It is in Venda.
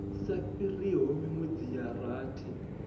sa fhiriho minwedzi ya rathi